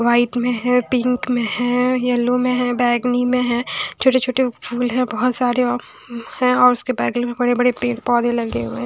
White में है pink में हैं येल्लो में हैं बैगनी में हैं छोटे-छोटे फूल है बहोत सारे अअअ हैं और उसके बेगल में बड़े-बड़े पेड़-पौधे लगे हुए हैं।